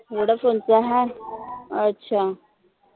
vodafone च hi अच्छा